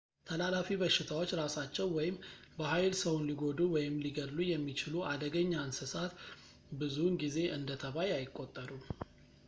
ተላላፊ በሽታዎች ራሳቸው ወይም በኃይል ሰውን ሊጎዱ ወይም ሊገድሉ የሚችሉ አደገኛ እንሰሳት ብዙውን ጊዜ እንደ ተባይ አይቆጠሩም